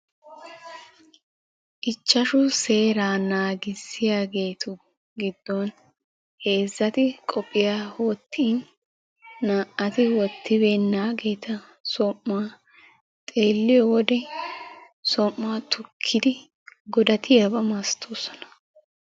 Ichashshu seera naagissiyaageetu giddon heezzati qophiyya wottin naa''atu wottibeenatu som'uwaa xeeliyo wode som'uwaa tukkidi godatiyaaba malatoosona.